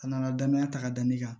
A nana danaya ta ka da ne kan